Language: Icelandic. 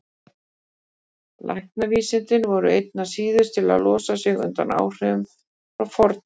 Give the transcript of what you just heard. Læknavísindin voru einna síðust til að losa sig undan áhrifum frá fornöld.